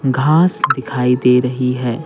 घास दिखाई दे रही है।